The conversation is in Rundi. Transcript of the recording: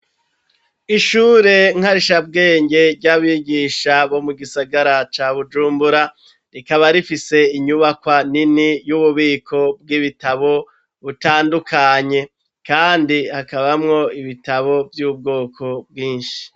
Ishure nkarisha bwenge ry'abigisha bwo mu gisagara ca bujumbura rikaba rifise inyubakwa nini y'ububiko bw'ibitabo butandukanye kandi hakabamwo ibitabo vy'ubwoko bwinshi.